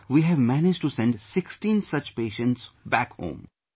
So far we have managed to send 16 such patients home